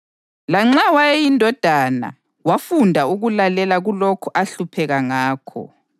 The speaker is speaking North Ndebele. Lanxa wayeyindodana wafunda ukulalela kulokhu ahlupheka ngakho,